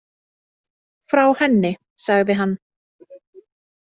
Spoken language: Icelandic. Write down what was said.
Frá henni, sagði hann.